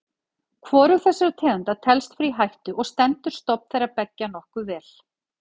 Hvorug þessara tegunda telst vera í hættu og stendur stofn þeirra beggja nokkuð vel.